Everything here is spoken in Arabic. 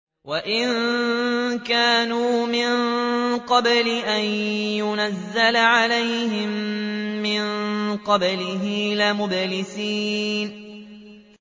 وَإِن كَانُوا مِن قَبْلِ أَن يُنَزَّلَ عَلَيْهِم مِّن قَبْلِهِ لَمُبْلِسِينَ